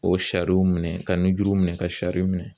O sariw minɛn ka nunjuruw minɛn ka sari minɛn.